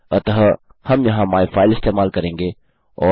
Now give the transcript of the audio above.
अतः हम यहाँ माइफाइल इस्तेमाल करेंगे